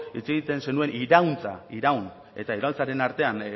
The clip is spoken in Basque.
hitz egiten zenuen irauntza iraun eta iraultzaren artean